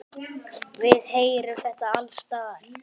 Við heyrum þetta alls staðar.